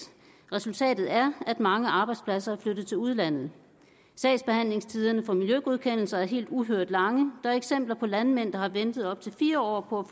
resultatet er at mange arbejdspladser er flyttet til udlandet sagsbehandlingstiderne for miljøgodkendelser er uhørt lange der er eksempler på landmænd der har ventet op til fire år på